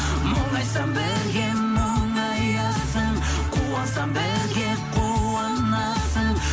мұңайсам бірге мұңаясың қуансам бірге қуанасың